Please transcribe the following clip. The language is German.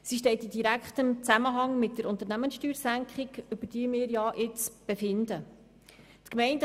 Sie steht in direktem Zusammenhang mit der Unternehmenssteuersenkung, über die wir nun befunden haben.